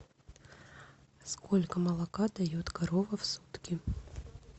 сколько молока дает корова в сутки